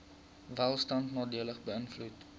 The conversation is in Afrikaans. welstand nadelig beïnvloed